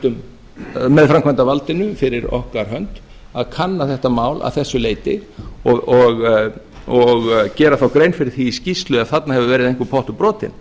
og eftirlitsmanni með framkvæmdarvaldinu fyrir okkar hönd að kanna þetta mál að þessu leyti og gera þá grein fyrir því í skýrslu ef þarna hefur verið einhver pottur brotinn